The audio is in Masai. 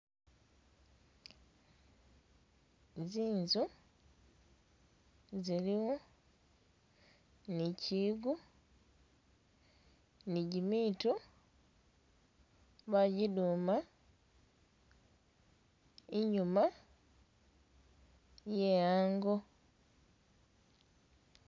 Zinzu ziliwo ni kiyigo ni gimitu bagiduma enyuma ye ango.